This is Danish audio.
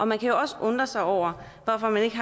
man kan også undre sig over hvorfor man ikke